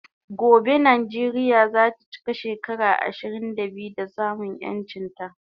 Gobe Nijeria zata chika shekara ishirin da biyu da samun yanchin ta